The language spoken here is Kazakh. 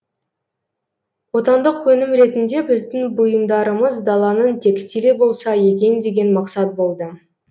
отандық өнім ретінде біздің бұйымдарымыз даланың текстилі болса екен деген мақсат болды